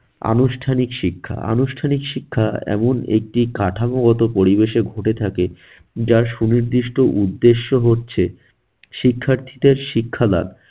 আনুষ্ঠানিক শিক্ষা, আনুষ্ঠানিক শিক্ষা এমন একটি কাঠামোগত পরিবেশে ঘটে থাকে যার সুনির্দিষ্ট উদ্দেশ্য হচ্ছে শিক্ষার্থীদের শিক্ষা লাভ।